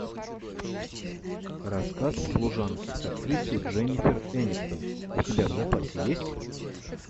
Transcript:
рассказ служанки с актрисой дженнифер энистон у тебя в запасе есть